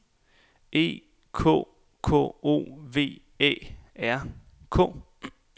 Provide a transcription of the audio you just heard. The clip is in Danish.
E K K O V Æ R K